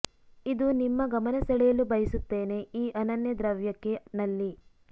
ಇದು ನಿಮ್ಮ ಗಮನ ಸೆಳೆಯಲು ಬಯಸುತ್ತೇನೆ ಈ ಅನನ್ಯ ದ್ರವ್ಯಕ್ಕೆ ನಲ್ಲಿ